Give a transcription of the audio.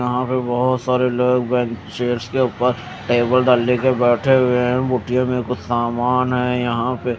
यहां पे बोहोत सारे लोग बेन्चेस के ऊपर टेबल दाल लेके बेठे हुए हें बुकये में कुछ सामान हें यहा पे --